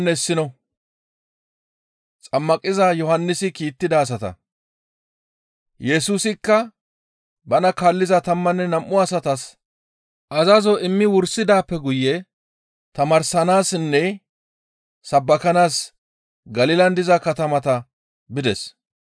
Yesusikka bana kaalliza tammanne nam7u asatas azazo immi wursidaappe guye tamaarsanaassinne sabbakanaas Galilan diza katamata bides.